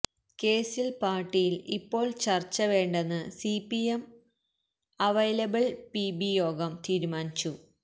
കേസില് പാര്ട്ടിയില് ഇപ്പോള് ചര്ച്ച വേണ്ടെന്ന് സിപിഎം അവൈലബിള് പിബി യോഗം തീരുമാനിച്ചു